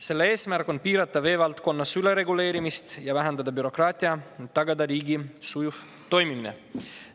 Selle eesmärk on piirata vee valdkonnas ülereguleerimist ja vähendada bürokraatiat ning tagada riigi sujuv toimimine.